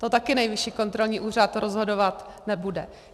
To taky Nejvyšší kontrolní úřad rozhodovat nebude.